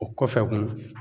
O kɔfɛ kun